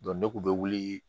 ne kun bɛ wuli